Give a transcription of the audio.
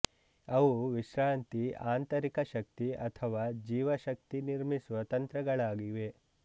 ಅವು ವಿಶ್ರಾಂತಿ ಆಂತರಿಕ ಶಕ್ತಿ ಅಥವಾ ಜೀವ ಶಕ್ತಿ ನಿರ್ಮಿಸುವ ತಂತ್ರಗಳಾಗಿವೆ